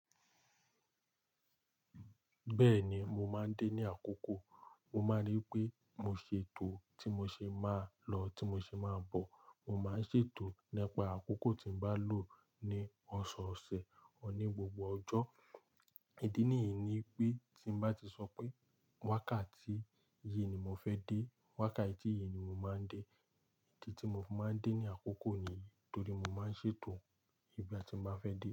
Bẹ́ẹ̀ni, mo máa ń dé ní àkókò. Mo máa ń rí pé mo ṣètò tí mo ṣe máa lọ, tí mo ṣe máa bọ̀. Mo máa ń ṣètò nípa àkókò tí ń bá lọ ní ọ̀sọ̀ọ̀sẹ̀ ni gbogbo ọjọ́. Ìdí nìyìí ni pé tí n bá ti sọ pé wákàtí yìí ni mo fẹ́ dé, wákàtí yìí ni mo máa ń dé. Idi tí mo fi máa ń dé ní àkókò ni, torí mo máa ń ṣètò nigba tí mo bá fẹ́ dé.